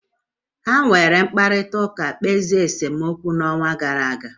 Ha were mkparịta ụka kpezie nsemokwu n'ọnwa gara aga?